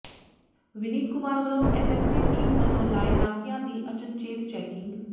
ਵਿਨੀਤ ਕੁਮਾਰ ਵੱਲੋਂ S S T team ਵੱਲੋਂ ਲਾਏ ਨਾਕਿਆਂ ਦੀ ਅਚਨਚੇਤ ਚੈਕਿੰਗ